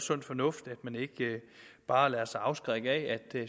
sund fornuft at man ikke bare lader sig afskrække af at